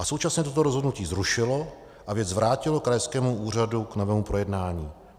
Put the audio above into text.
A současně toto rozhodnutí zrušilo a věc vrátilo krajskému úřadu k novému projednání.